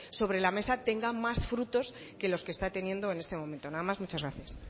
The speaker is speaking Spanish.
sobre la mesa tenga más frutos que los que está teniendo en este momento nada más muchas gracias